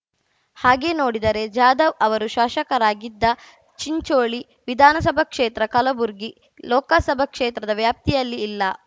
ಹಾಗೆ ನೋಡಿದರೆ ಜಾಧವ್‌ ಅವರು ಶಾಶಕರಾಗಿದ್ದ ಚಿಂಚೋಳಿ ವಿಧಾನಸಭಾ ಕ್ಷೇತ್ರ ಕಲಬುರಗಿ ಲೋಕಸಭಾ ಕ್ಷೇತ್ರದ ವ್ಯಾಪ್ತಿಯಲ್ಲಿ ಇಲ್ಲ